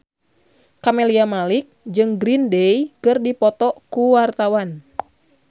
Camelia Malik jeung Green Day keur dipoto ku wartawan